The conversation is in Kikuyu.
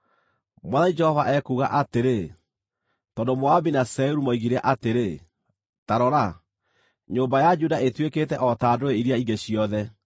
“Mwathani Jehova ekuuga atĩrĩ: ‘Tondũ Moabi na Seiru moigire atĩrĩ, “Ta rora, nyũmba ya Juda ĩtuĩkĩte o ta ndũrĩrĩ iria ingĩ ciothe,”